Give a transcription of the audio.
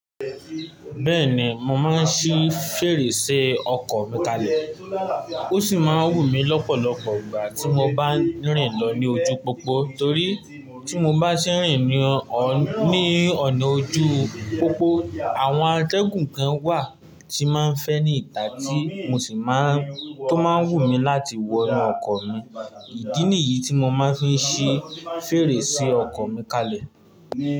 Bẹ́ẹ̀ni, mo máa ń ṣí fèrèsé ọkọ̀ mi kalẹ̀. Ó sì máa ń wù mí lọ́pọ̀lọpọ̀ ìgbà tí mo bá ń rìn lọ ní ojú pópó. Torí tí mo bá ṣe rin ní ọ̀, ní ọ̀nà ojú pópó, àwọn atẹ́gùn kan wà tí máa ń fẹ́ ní ìta tí mo sì má ń, tó máa ń wù mí láti wọnú ọkọ̀ mi. Ìdí nìyí tí mo máa ń fi ṣí fèrèsé ọkọ̀ mi kalẹ̀.